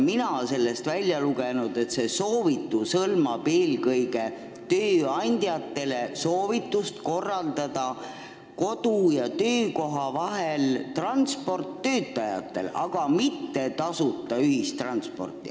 Mina olen sealt välja lugenud, et see on eelkõige soovitus tööandjatele korraldada kodu ja töökoha vahel töötajate transporti, aga mitte tasuta ühistransporti.